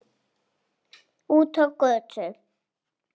Út á götu.